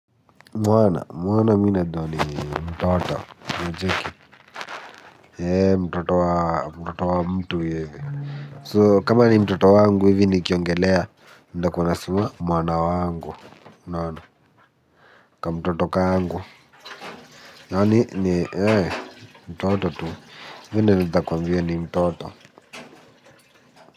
Mwana, mwana mimi najua ni mtoto mtoto wa mtoto wa mtu hivi So kama ni mtoto wangu hivi nikiongelea, nitakuwa nasema mwana wangu, unaona, kamtoto kangu. Yaani ni mtoto tu, mimi naezakwambia ni mtoto.